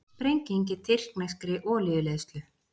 Sprenging í tyrkneskri olíuleiðslu